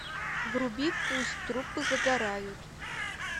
вруби пусть трупы загорают